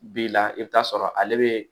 Bi la i bi t'a sɔrɔ ale be